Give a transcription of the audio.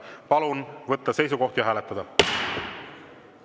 Palun võtta seisukoht ja hääletada!